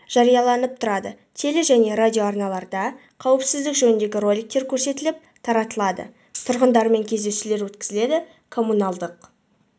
жарияланып тұрады теле және радио арналарда қауіпсіздік жөніндегі роликтер көрсетіліп таратылады тұрғындармен кездесулер өткізіледі коммуналдық